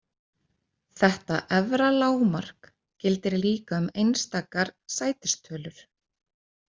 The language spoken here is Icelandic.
Þetta efra lágmark gildir líka um einstakar sætistölur.